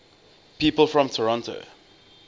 people from toronto